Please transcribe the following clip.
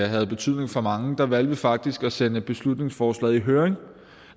havde betydning for mange valgte vi faktisk at sende forslaget i høring